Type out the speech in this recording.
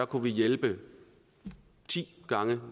kunne vi hjælpe ti gange